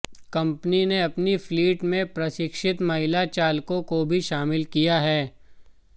company ने अपनी fleet में प्रशिक्षित महिला चालकों को भी शामिल किया है